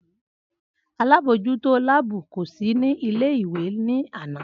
Alábòójútó láàbù kò sí ní ilé ìwé ní àná